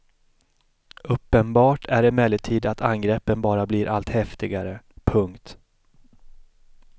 Uppenbart är emellertid att angreppen bara blir allt häftigare. punkt